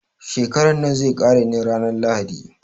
Shekaran nan zai ƙare ne ranar lahadi.